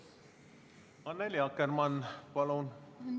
Annely Akkermann, palun!